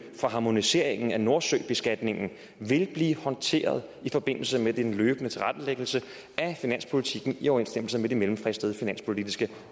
for harmoniseringen af nordsøbeskatningen vil blive håndteret i forbindelse med den løbende tilrettelæggelse af finanspolitikken i overensstemmelse med de mellemfristede finanspolitiske